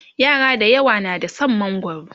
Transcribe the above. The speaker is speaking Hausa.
yara dayawa na da San mangwaro